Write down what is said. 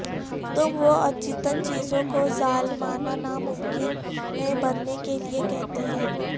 تم وہ اچیتن چیزوں کو ظالمانہ ناممکن ہے بننے کے لئے کہتے ہیں